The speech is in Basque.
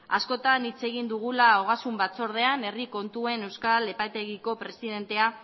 askotan hitz egin dugula ogasun batzordean herri kontuen euskal epaitegiko presidentea